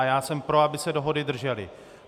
A já jsem pro, aby se dohody držely.